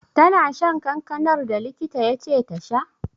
Tana shan kankanar da likita ya ce ta sha?